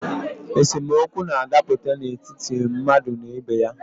Esemokwu na-adaputa n’etiti mmadụ na ibe ya